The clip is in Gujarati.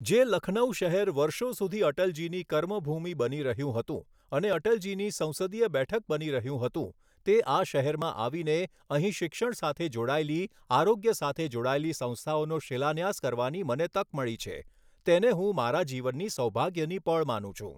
જે લખનૌ શહેર વર્ષો સુધી અટલજીની કર્મભૂમિ બની રહ્યું હતું અને અટલજીની સંસદીય બેઠક બની રહ્યું હતું તે આ શહેરમાં આવીને અહીં શિક્ષણ સાથે જોડાયેલી, આરોગ્ય સાથે જોડાયેલી સંસ્થાઓનો શિલાન્યાસ કરવાની મને તક મળી છે, તેને હું મારા જીવનની સૌભાગ્યની પળ માનું છું.